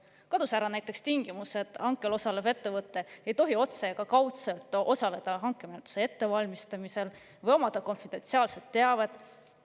Näiteks kadus ära ka tingimus, et hankel osalev ettevõte ei tohi otse ega kaudselt osaleda hankemenetluse ettevalmistamisel või omada konfidentsiaalset teavet.